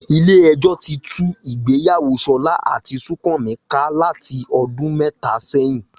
Ilé ẹjọ́ ti tú ìgbéyàwó Ṣọlá àti Súnkànmí ká láti ọdún mẹ́ta sẹ́yìn